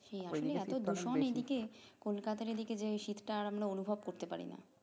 এত দূষণ এই দিকে কলকাতার এই দিকে যে শীত টা আমরা অনুভব করতে পারিনা